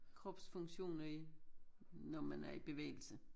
Kropsfunktioner i når man er i bevægelse